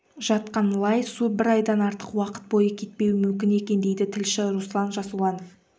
жатқан лай су бір айдан артық уақыт бойы кетпеуі мүмкін екен дейді тілші руслан жасұланов